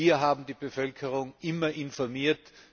Wir haben die Bevölkerung immer informiert.